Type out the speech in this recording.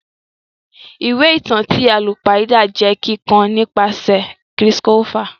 Ìwé ìtàn ti àlùpàídà jẹ kikọ nìpasẹ̀ Chris Colfer.